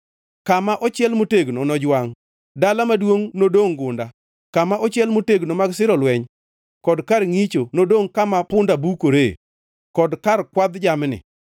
Kama ochiel motegno nojwangʼ, dala maduongʼ nodongʼ gunda; kama ochiel motegno mag siro lweny kod kar ngʼicho nodongʼ kama punda bukore, kod kar kwadh jamni,